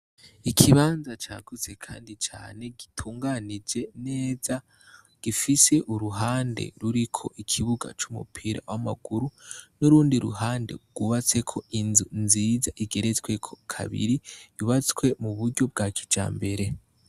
Ikibanza cagutse kandi cane gitunganije neza gifise uruhande ruriko ikibuga c'umupira w'amaguru n'urundi ruhande rwubatseko inzu nziza igeretsweko kabiri yubatswe mu buryo bwa kijambere.